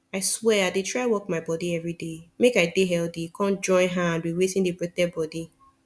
i swear i dey try work my body everyday make i dey healthy come join hand with wetin dey protect bodi